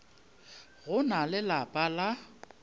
go na le lapa la